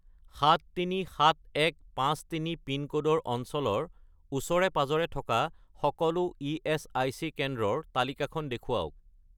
737153 পিনক'ডৰ অঞ্চলৰ ওচৰে-পাঁজৰে থকা সকলো ইএচআইচি কেন্দ্ৰৰ তালিকাখন দেখুৱাওক